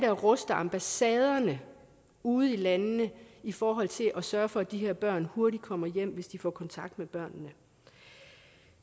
at ruste ambassaderne ude i landene i forhold til at sørge for at de her børn hurtigt kommer hjem hvis de får kontakt med børnene